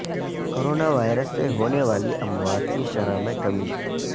corona virus سے ہونے والی اموات کی شرح میں کمی